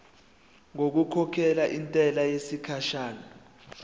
ngokukhokhela intela yesikhashana